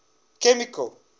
chemical